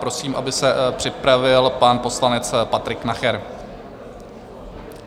Prosím, aby se připravil pan poslanec Patrik Nacher.